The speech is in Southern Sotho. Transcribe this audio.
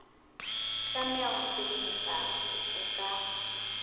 tlameha ho felehetsa kopo ka